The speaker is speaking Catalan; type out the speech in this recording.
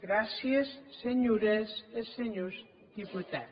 gràcies senhores e senhors deputats